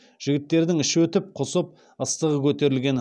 жігіттердің іші өтіп құсып ыстығы көтерілген